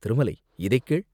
திருமலை, இதைக் கேள்!